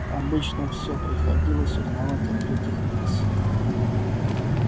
обычно все приходилось узнавать от третьих лиц